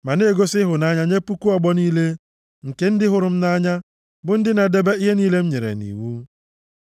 Ma na-egosi ịhụnanya nye puku ọgbọ niile nke ndị hụrụ m nʼanya, bụ ndị na-edebe ihe niile m nyere nʼiwu.